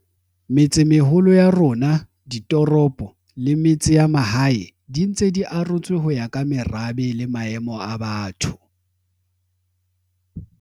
Metsemeholo ya rona, ditoropo le metse ya mahae di ntse di arotswe ho ya ka merabe le maemo a batho.